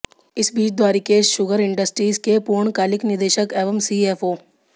इस बीच Dwarikesh sugar industries के पूर्णकालिक निदेशक एवं सीएफओ